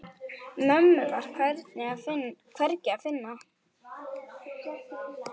Mömmu var hvergi að finna.